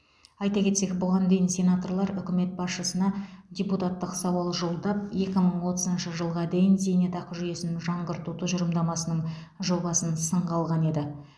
айта кетсек бұған дейін сенаторлар үкімет басшысына депутаттық сауал жолдап екі мың отызыншы жылға дейін зейнетақы жүйесін жаңғырту тұжырымдасының жобасын сынға алған еді